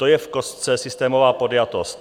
To je v kostce systémová podjatost.